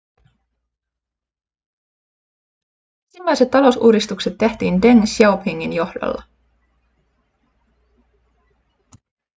ensimmäiset talousuudistukset tehtiin deng xiaopingin johdolla